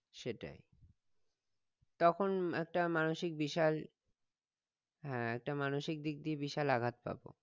সেটাই তখন একটা মানসিক বিশাল হ্যাঁ একটা মানসিক দিক দিয়ে বিশাল আঘাত পাবো